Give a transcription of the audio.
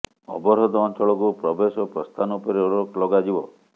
ଅବରୋଧ ଅଞ୍ଚଳକୁ ପ୍ରବେଶ ଓ ପ୍ରସ୍ଥାନ ଉପରେ ରୋକ ଲଗାଯିବ